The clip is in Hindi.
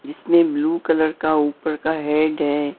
जिसमें ब्लू कलर का ऊपर का हेड है।